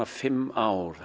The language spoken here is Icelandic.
fimm ár